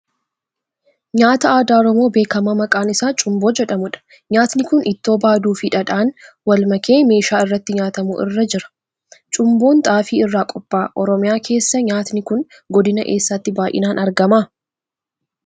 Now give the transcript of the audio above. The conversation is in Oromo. Nyaata aadaa Oromoo beekamaa maqaan isaa Cumboo jedhamuudha. Nyaatni kun ittoo baaduu fi dhadhaan wal makee meeshaa irratti nyaatamu irra jira. Cumboon xaafii irraa qopha'aa. Oromiyaa keessaa nyaatni kun Godina eessaatti bayyinaan argama?